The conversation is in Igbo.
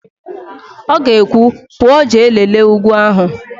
Ọ ga-ekwu, "pụọ jee lelee ugwu ahụ"!